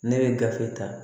Ne bɛ gafe ta